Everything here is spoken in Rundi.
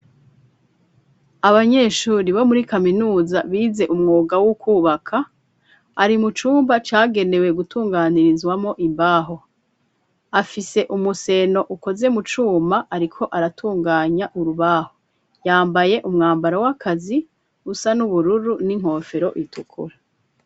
Abanyeshure bo muri kaminuza bize umwuga wo kwubaka, bari mu cumba cagenewe gutunganirizwamwo imbaho. Afise umuseno ukoze mu cuma, ariko aratunganya urubaho. Yambaye umwambaro w'akazi usa n'ubururu n'inkofero itukura.